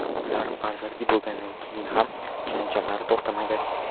Ular farzandli bo‘lganidan keyin ham janjallar to‘xtamaydi.